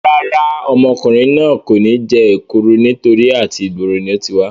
Rárá, ọmọkùnrin náà kò ní jẹ èkúru nítorí àti ìgboro ni ó ti wá